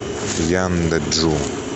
янджу